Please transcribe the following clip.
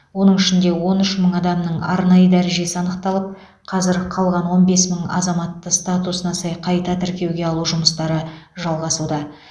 оның ішінде он үш мың адамның арнайы дәрежесі анықталып қазір қалған он бес мың азаматты статусына сай қайта тіркеуге алу жұмыстары жалғасуда